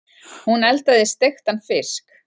Hún eldaði steiktan fisk.